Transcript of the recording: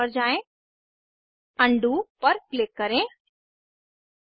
keyboard से delete key दबाएं अब स्ट्रक्चर के भाग को मिटने के लिए इरेजर टूल का उपयोग करना सीखें